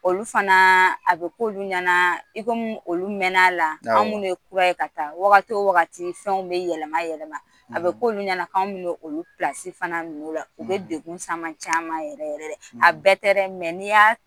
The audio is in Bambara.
Olu fanaa a bɛ k'olu ɲɛnaa i ko mi olu mɛn'ala anw minnu ye kura ka taa wagati fɛnw bɛ yɛlɛma yɛlɛma a bɛ k'olu ɲɛna k'anw bɛna olu pilasi fana la u bɛ degu caman s'an ma yɛrɛ yɛrɛ a bɛɛ tɛ dɛ mɛ n'i'ya